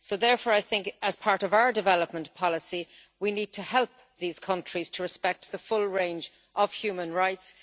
Therefore, as part of our development policy, we need to help these countries to respect the full range of human rights.